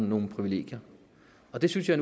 nogle privilegier og det synes jeg